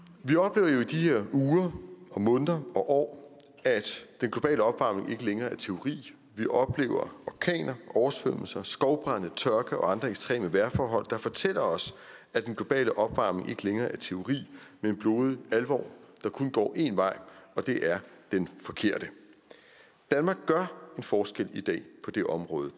uger og måneder og år at den globale opvarmning ikke længere er teori vi oplever orkaner oversvømmelser skovbrande tørke og andre ekstreme vejrforhold der fortæller os at den globale opvarmning ikke længere er teori men blodig alvor der kun går én vej og det er den forkerte danmark gør en forskel i dag på det område og